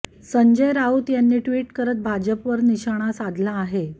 संजय राऊत यांनी ट्विट करत भाजपवर निशाणा साधला आहे